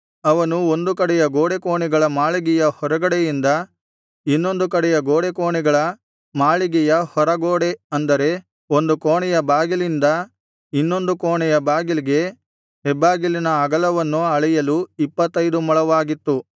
ಅವನು ಒಂದು ಕಡೆಯ ಗೋಡೆಕೋಣೆಗಳ ಮಾಳಿಗೆಯ ಹೊರಗಡೆಯಿಂದ ಇನ್ನೊಂದು ಕಡೆಯ ಗೋಡೆಕೋಣೆಗಳ ಮಾಳಿಗೆಯ ಹೊರಗಡೆ ಅಂದರೆ ಒಂದು ಕೋಣೆಯ ಬಾಗಿಲಿಂದ ಇನ್ನೊಂದು ಕೋಣೆಯ ಬಾಗಿಲಿಗೆ ಹೆಬ್ಬಾಗಿಲಿನ ಅಗಲವನ್ನು ಅಳೆಯಲು ಇಪ್ಪತ್ತೈದು ಮೊಳವಾಗಿತ್ತು